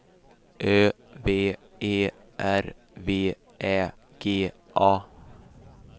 Ö V E R V Ä G A